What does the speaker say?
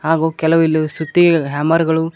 ಹಾಗು ಕೆಲವಿಲ್ಲಿವು ಸುತ್ತಿಗಳು ಹ್ಯಾಮರ್ ಗಳು--